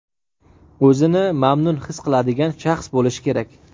o‘zini mamnun his qiladigan shaxs bo‘lishi kerak!.